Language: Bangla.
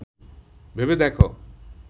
ভেবে দেখ